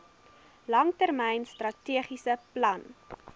langtermyn strategiese plan